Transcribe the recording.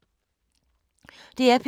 DR P3